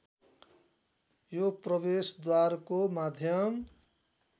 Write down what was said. या प्रवेशद्वारको माध्यम